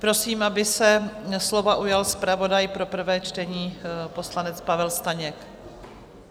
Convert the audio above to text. Prosím, aby se slova ujal zpravodaj pro prvé čtení, poslanec Pavel Staněk.